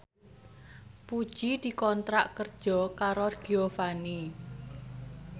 Puji dikontrak kerja karo Giovanni